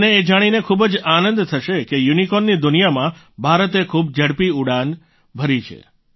તમને એ જાણીને ખૂબ જ આનંદ થશે કે યુનિકોર્નની દુનિયામાં ભારતે ખૂબ ઝડપી ઉડાન ભરી છે